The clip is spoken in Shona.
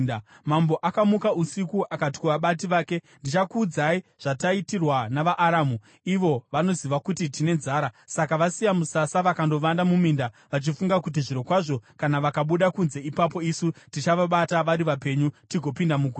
Mambo akamuka usiku akati kuvabati vake, “Ndichakuudzai zvataitirwa navaAramu. Ivo vanoziva kuti tine nzara; saka vasiya musasa vakandovanda muminda, vachifunga kuti ‘Zvirokwazvo kana vakabuda kunze ipapo isu tichavabata vari vapenyu tigopinda muguta.’ ”